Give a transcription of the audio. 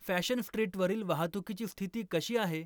Fashion स्ट्रीटवरील वाहतुकीची स्थिती कशी आहे?